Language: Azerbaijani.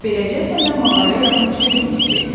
Beləcə, səndə mağaraya yaxın düşə bilməyəcəksən.